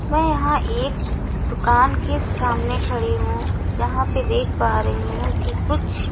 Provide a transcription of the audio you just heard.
मैं यहां एक दुकान के सामने खड़ी हूं यहां पे देख पा रही हूं कि कुछ--